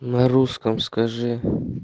на русском скажи